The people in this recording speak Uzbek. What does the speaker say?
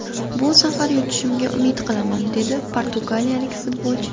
Bu safar yutishimga umid qilaman”, – dedi portugaliyalik futbolchi.